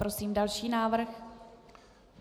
Prosím další návrh.